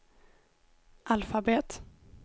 alfabet